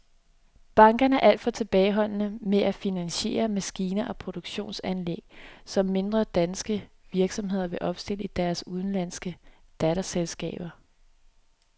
Bankerne er alt for tilbageholdende med at finansiere maskiner og produktionsanlæg, som mindre danske virksomheder vil opstille i deres udenlandske datterselskaber.